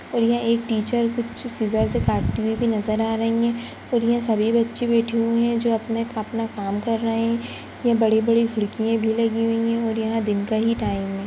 और यहाँ एक टीचर कुछ सीजर से काटती हुई भी नजर आ रही हैं और यहाँ सभी बच्चे बैठे हुए हैं जो अपने - अपना काम कर रहे हैं यहाँ बड़ी -बड़ी खिड़कियां भी लगी हुई हैँ और यह दिन का ही टाइम है।